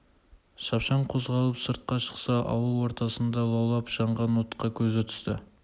шапшаң қозғалып сыртқа шықса ауыл ортасында лаулап жанған отқа көзі түсті